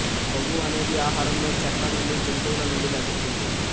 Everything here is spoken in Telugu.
కొవ్వు అనేది ఆహారంలో చెట్ల నుండి జంతువుల నుండి లభిస్తుంది